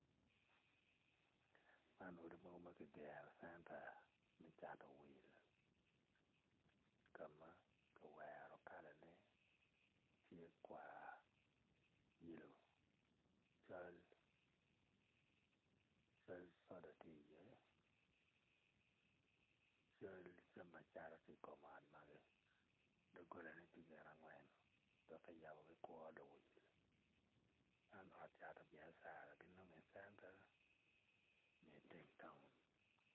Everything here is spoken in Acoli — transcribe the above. Manodi mogo ma kigero i centa me cato wil ka kiwero kalane tye kwar yelo col cal coda ti iye cal jami acata ti i kom ot magi dogolane ti gin angwen dok ki yabo gikuru luwil man ot cato biacara ginonge icenta ma iteng taun